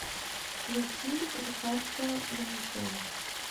включи рикарда манекен